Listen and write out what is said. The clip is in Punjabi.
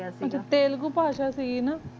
ਉਠੀ ਤਿਆਲ ਕੁਪਾਸ਼ਾ ਸੀਗੀ ਨਾ